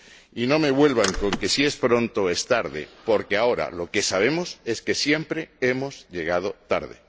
Y no me vengan con que si es pronto o es tarde, porque ahora, lo que sabemos, es que siempre hemos llegado tarde.